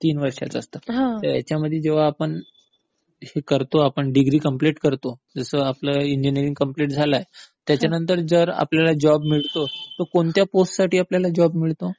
तीन वर्षांचं तर ह्यांच्यामध्ये जेंव्हा आपण हे करतो आपण डिग्री पूर्ण करतो जसं आपलं इंजिनियरिंग पूर्ण झालं आहे, त्याच्यानंतर जो आपल्याला जॉब मिळतो, तो कोणत्या पोस्ट साठी आपल्याला जॉब मिळतो?